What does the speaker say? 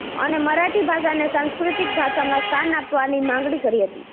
અને મરાઠી ભાષાને સાંસ્કૃતિક ભાષામાં સ્થાન આપવાની માગણી કરી હતી